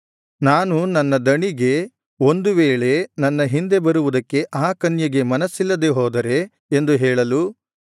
ನಾನು ನನ್ನ ದಣಿಗೆ ಒಂದು ವೇಳೆ ನನ್ನ ಹಿಂದೆ ಬರುವುದಕ್ಕೆ ಆ ಕನ್ಯೆಗೆ ಮನಸ್ಸಿಲ್ಲದೆ ಹೋದರೆ ಎಂದು ಹೇಳಲು